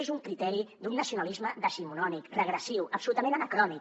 és un criteri d’un nacionalisme decimonònic regressiu absolutament anacrònic